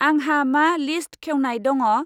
आंहा मा लिस्ट खेवनाय दङ?